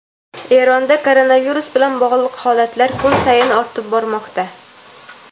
Eronda koronavirus bilan bog‘liq holatlar kun sayin ortib bormoqda.